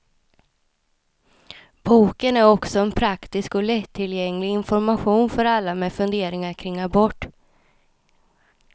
Boken är också en praktisk och lättillgänglig information för alla med funderingar kring abort.